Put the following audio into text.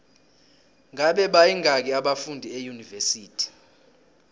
ngabe bayingaki abafundi eunivesithi